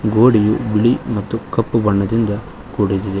ಗೋಡೆಯು ಬಿಳಿ ಮತ್ತು ಕಪ್ಪು ಬಣ್ಣದಿಂದ ಕೂಡಿದಿದೆ.